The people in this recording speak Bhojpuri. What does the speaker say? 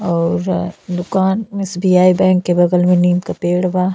और दुकान एस.बी.आई. बैंक के बगल में नीम क पेड़ बा।